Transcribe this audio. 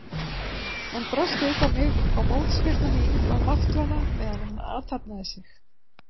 Hann brölti upp á mig og mótspyrna mín var máttvana meðan hann athafnaði sig.